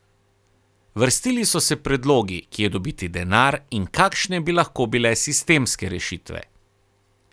Vrstili so se predlogi, kje dobiti denar in kakšne bi lahko bile sistemske rešitve.